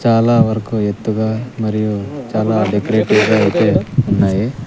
చాలా వరకు ఎత్తుగా మరియు చాలా డెకరేటివ్ గా అయితే ఉన్నాయి.